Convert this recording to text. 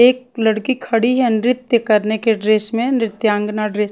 एक लड़की खड़ी है नृत्य करने के ड्रेस मे नृत्यांगना ड्रेस --